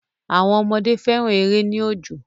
Àwọn ọmọdé fẹ́ran èrè ní òjò